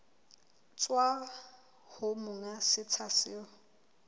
tswa ho monga setsha seo